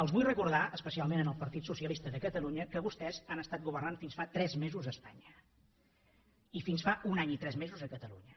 els vull recordar especialment al partit socialista de catalunya que vostès han estat governant fins fa tres mesos a espanya i fins fa un any i tres mesos a catalunya